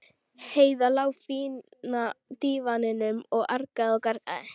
Heiða lá á fína dívaninum og argaði og gargaði.